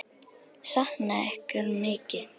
Sakna ykkar mikið.